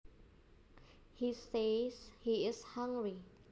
He says he is hungry